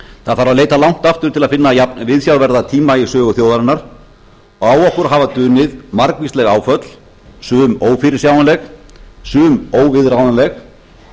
það þarf að leita langt aftur til að finna jafnviðsjárverða tíma í sögu þjóðarinnar og á okkur hafa dunið margvísleg áföll sum ófyrirsjáanleg sum óviðráðanleg